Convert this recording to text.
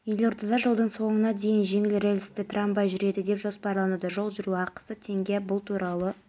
сіздер қызметтік парызды мүлтіксіз атқарғанда ғана қоғам мен мемлекеттің жаңғыруы жүзеге асады сондықтан біз қазір қабылданған